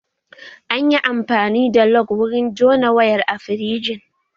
An yi amfani da lug wurin jona wayar a firijin